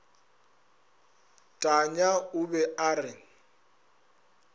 tanya o be a re